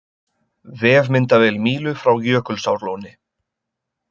Vefmyndavél Mílu frá Jökulsárlóni